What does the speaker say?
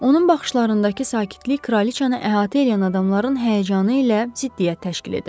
Onun baxışlarındakı sakitlik kraliçanı əhatə eləyən adamların həyəcanı ilə ziddiyyət təşkil edirdi.